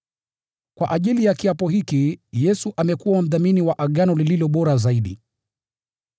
Kwa ajili ya kiapo hiki, Yesu amekuwa mdhamini wa agano lililo bora zaidi.